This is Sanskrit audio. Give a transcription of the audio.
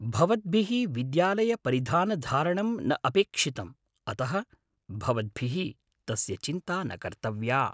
भवद्भिः विद्यालयपरिधानधारणं न अपेक्षितम् अतः भवद्भिः तस्य चिन्ता न कर्तव्या ।